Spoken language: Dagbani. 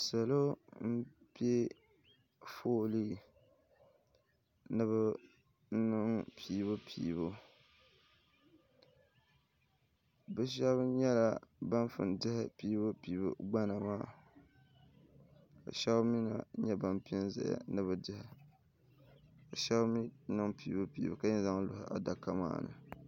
Salo m-pe foolii ni bɛ niŋ piibupiibu bɛ shɛba nyɛla ban pun diɛhi piibupiibu gbana maa ka shɛba mi na nyɛ ban pe zaya ni bɛ diɛhi ka shɛba mi niŋ piibupiibu ka yɛn zaŋ lɔhi adaka maa ni